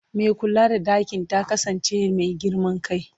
Mai kula da ɗakin ta kasance mai girman kai.